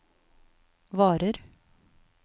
varer